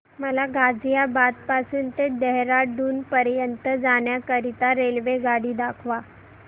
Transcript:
मला गाझियाबाद पासून ते देहराडून पर्यंत जाण्या करीता रेल्वेगाडी दाखवा